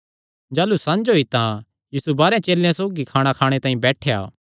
जाह़लू संझ होई तां यीशु बारांह चेलेयां सौगी खाणा खाणे तांई बैठेया